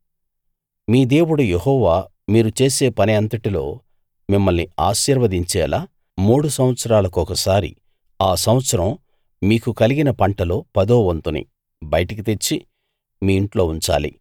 మీ దేవుడు యెహోవా మీరు చేసే పని అంతటిలో మిమ్మల్ని ఆశీర్వదించేలా మూడు సంవత్సరాల కొకసారి ఆ సంవత్సరం మీకు కలిగిన పంటలో పదో వంతుని బయటికి తెచ్చి మీ ఇంట్లో ఉంచాలి